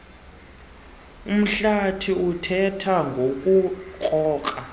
umhlathi othetha ngokurhoxa